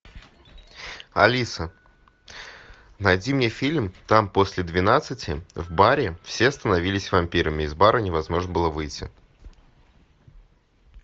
алиса найди мне фильм там после двенадцати в баре все становились вампирами из бара невозможно было выйти